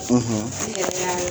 ; N yɛrɛ ya ye